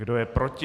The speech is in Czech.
Kdo je proti?